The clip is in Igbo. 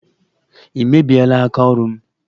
Ị mebiela aka ọrụ m!